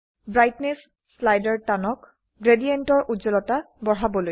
brightness স্লাইডৰ টানক গ্ৰেডিয়েন্টৰ উজ্জ্বলতা বঢ়াবলৈ